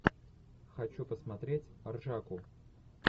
хочу посмотреть ржаку